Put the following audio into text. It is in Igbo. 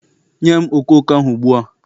Nye m okooko ahụ ugbu a!